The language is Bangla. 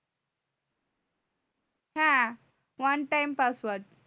হ্যাঁ অন